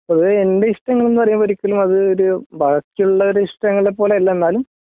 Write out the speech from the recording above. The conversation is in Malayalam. പൊതുവേ എൻറെ ഇഷ്ടങ്ങള് എന്നു പറയുമ്പം ഒരിക്കലും അത് ഒരു ബാക്കിയുള്ളവരുടെ ഇഷ്ടങ്ങളെപോലെയല്ല എന്നാലും